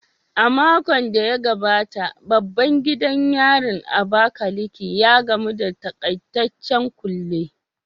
A makon da ya gabata, babban gidan yarin Abakaliki, ya gamu da takaitaccen kulle